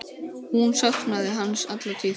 Hún saknaði hans alla tíð.